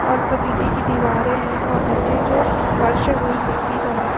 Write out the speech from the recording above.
और सब इटे की दीवारें हैं और नीचे जो फर्श जो है वो भी मिट्टी का है।